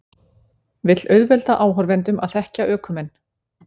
Vill auðvelda áhorfendum að þekkja ökumenn